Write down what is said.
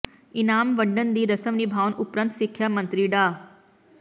ਇਨਾਮ ਵੰਡਣ ਦੀ ਰਸਮ ਨਿਭਾਉਣ ਉਪਰੰਤ ਸਿੱਖਿਆ ਮੰਤਰੀ ਡਾ